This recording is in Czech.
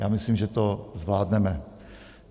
Já myslím, že to zvládneme.